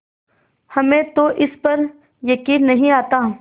हमें तो इस पर यकीन नहीं आता